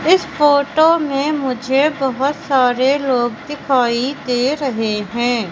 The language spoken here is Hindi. इस फोटो में मुझे बहोत सारे लोग दिखाई दे रहे हैं।